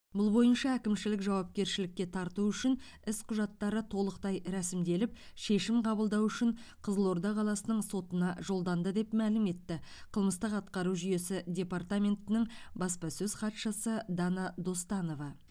бұл бойынша әкімшілік жауапкершілікке тарту үшін іс құжаттары толықтай рәсімделіп шешім қабылдау үшін қызылорда қаласының сотына жолданды деп мәлім етті қылмыстық атқару жүйесі департаментінің баспасөз хатшысы дана достанова